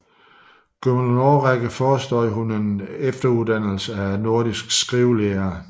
Gennem en årrække forestod hun en efteruddannelse for nordiske skrivelærere